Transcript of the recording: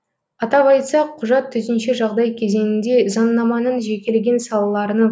атап айтсақ құжат төтенше жағдай кезеңінде заңнаманың жекелеген салаларының